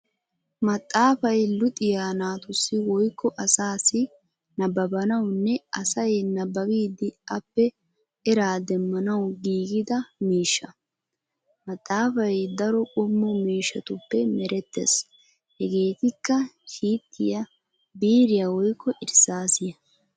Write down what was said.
Maxaafay luxiyaa naatussi woykko asaassi nabbabanawunne asay nabbabidi appe era demmanawu giigida miishsha. Maxaafay daro qommo mishshatuppe merettees hegeetikka shiittiyaa, biiriyaa woykko irssaassiyaa.